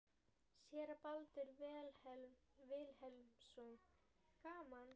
Séra Baldur Vilhelmsson: Gaman?